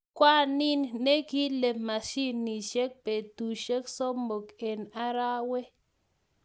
Ngwanin ne kile masiminik betushe somok eng arawee.